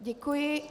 Děkuji.